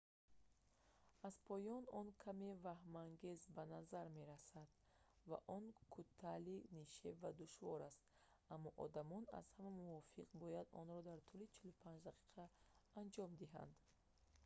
аз поён он каме ваҳмангез ба назар мерасад ва он кӯтали нишеб ва душвор аст аммо одамони аз ҳама мувофиқ бояд онро дар тӯли 45 дақиқа анҷом диҳанд